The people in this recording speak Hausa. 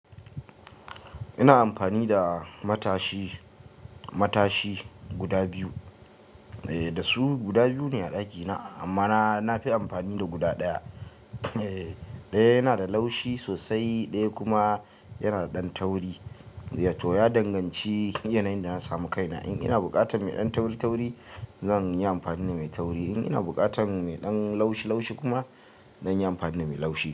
Ina amfani da matashi, matashi guda biyu. Eh, da su guda biyu ne a ɗakina amma na, na fi amfani da guda ɗaya. Eh, ɗaya yana da laushi sosai, ɗaya kuma yana da ɗan tauri. Wato ya danganci yanayin da na samu kaina. In ina buƙatar mai ɗan tauritauri zan yi amfani da mai tauri. In ina buƙatar mai ɗan laushilaushi kuma zan yi amfani da mai laushi.